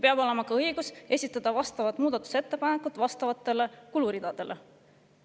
Peab olema ka õigus esitada vastavad muudatusettepanekud vastavate kuluridade kohta.